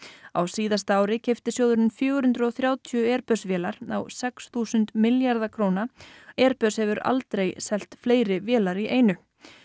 á síðasta ári keypti sjóðurinn fjögur hundruð og þrjátíu vélar á sex þúsund milljarða króna airbus hefur aldrei selt fleiri vélar í einu